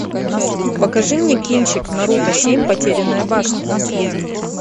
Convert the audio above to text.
покажи мне кинчик наруто семь потерянная башня